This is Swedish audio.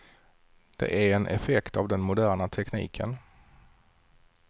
Det är en effekt av den moderna tekniken.